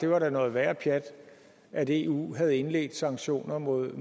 var noget værre pjat at eu havde indledt sanktioner mod